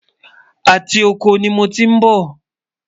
àti okò ní mọ tí n bó